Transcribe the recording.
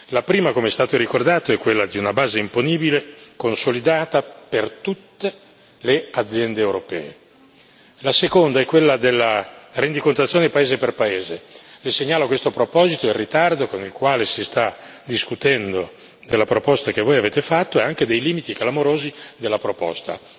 La prima, come è stato ricordato, è quella di una base imponibile consolidata per tutte le aziende europee. La seconda è quella della rendicontazione paese per paese le segnalo a questo proposito il ritardo con il quale si sta discutendo della proposta che voi avete fatto e anche i limiti clamorosi della proposta.